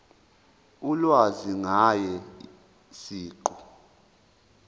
ulwazi ngaye siqu